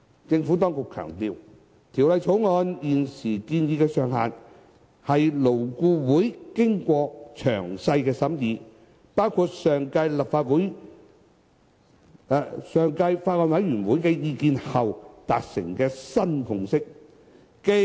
政府當局強調，《條例草案》現時建議的上限，是勞顧會經過詳細審議，包括前法案委員會的意見後，達成的新共識。